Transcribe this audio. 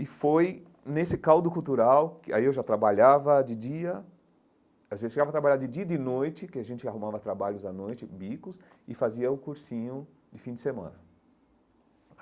E foi nesse caldo cultural que aí eu já trabalhava de dia... A gente chegava a trabalhar de dia e de noite, porque a gente arrumava trabalhos à noite, bicos, e fazia o cursinho de fim de semana.